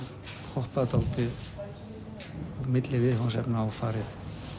hoppað dálítið milli viðfangsefna og farið